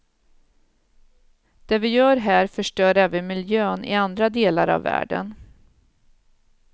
Det vi gör här förstör även miljön i andra delar av världen.